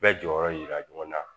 Bɛɛ jɔyɔrɔ jira ɲɔgɔn na